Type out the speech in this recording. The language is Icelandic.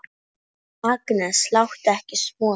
Agnes, láttu ekki svona!